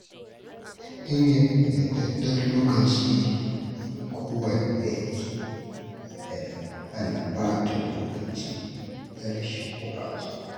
Sanya ƙayyadadden lokaci don kowanne aiki yana hana ɓata lokaci da rashin ƙwazo.